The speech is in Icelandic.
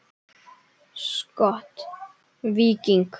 Skot: Víking.